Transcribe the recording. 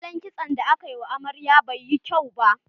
Salon kitson da aka wa amarya bai yi kyau ba.